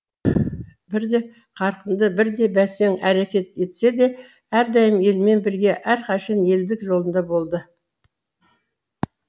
бірде қарқынды бірде бәсең әрекет етсе де әрдайым елмен бірге әрқашан елдік жолында болды